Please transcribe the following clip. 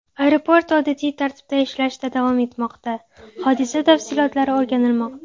Aeroport odatiy tartibda ishlashda davom etmoqda, hodisa tafsilotlari o‘rganilmoqda.